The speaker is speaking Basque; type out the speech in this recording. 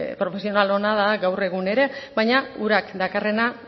profesional ona da gaur egun ere baina urak dakarrena